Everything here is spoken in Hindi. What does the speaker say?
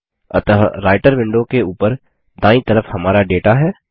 अतः राइटर विंडो के ऊपर दायीं तरफ हमारा डेटा है